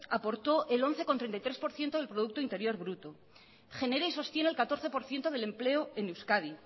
aportó el once treinta y tres por ciento del producto interior bruto genera y sostiene el catorce por ciento del empleo en euskadi